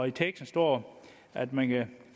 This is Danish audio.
i teksten står at man kan